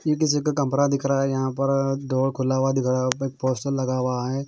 यह किसी का कमरा दिख रहा है यहां पर डोर खुला हुआ दिख रहा हैं ओपे पोस्टर लगा हुआ है।